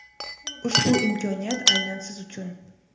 ushbu imkoniyat aynan siz uchun.